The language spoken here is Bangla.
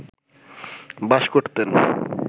বাস করতেন